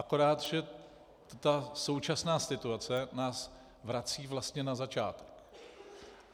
Akorát že ta současná situace nás vrací vlastně na začátek.